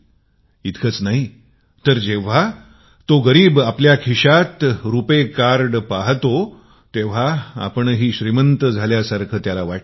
इतकेच नाही तर जो गरीब आपल्या खिशात रुपाय कार्ड पाहतो तर श्रीमंतासारखा अनुभव करतो